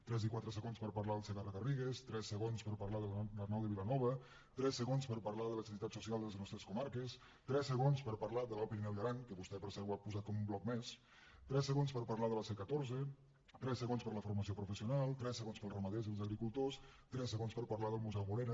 tres i quatre segons per parlar del segarra garrigues tres segons per parlar de l’arnau de vilanova tres segons per parlar de la necessitat social de les nostres comarques tres segons per parlar de l’alt pirineu i aran que vostè per cert ho ha posat com un bloc més tres segons per parlar de la c catorze tres segons per a la formació professional tres segons per als ramaders i els agricultors tres segons per parlar del museu morera